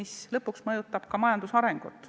See lõpuks mõjutab ka majanduse arengut.